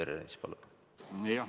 Peeter Ernits, palun!